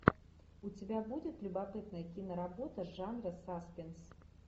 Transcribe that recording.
у тебя будет любопытная киноработа жанра саспенс